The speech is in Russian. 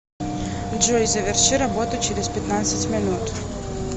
джой заверши работу через пятнадцать минут